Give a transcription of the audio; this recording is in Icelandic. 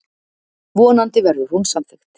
Vonandi verður hún samþykkt.